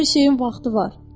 Hər şeyin vaxtı var.